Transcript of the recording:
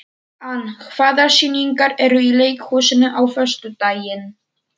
Ann, hvaða sýningar eru í leikhúsinu á föstudaginn?